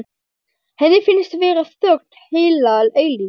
Henni finnst vera þögn heila eilífð.